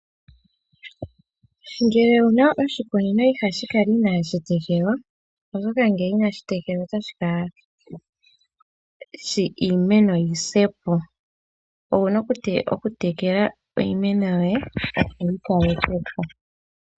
Ngele owu na oshikunino , iha shi kala ina shi tekelwa oshoka ngele inashi tekelwa otashi ningitha iimeno yi se po. Owuna oku tekela iimeno yoye opo wu yi kaleke po.